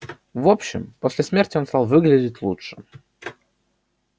в общем после смерти он стал выглядеть лучше